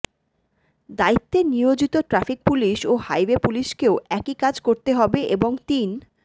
দায়িত্বে নিয়োজিত traffic police ও হাইওয়ে পুলিশকেও একই কাজ করতে হবে এবং তিন